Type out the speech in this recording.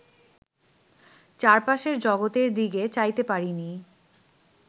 চারপাশের জগতের দিকে চাইতে পারিনি